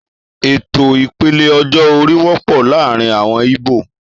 Ètò ìpele ọjọ́-orí wọ́pọ̀ láàárín àwọn íbò